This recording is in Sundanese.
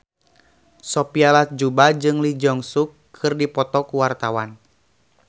Sophia Latjuba jeung Lee Jeong Suk keur dipoto ku wartawan